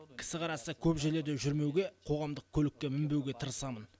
кісі қарасы көп жерлерде жүрмеуге қоғамдық көлікке мінбеуге тырысамын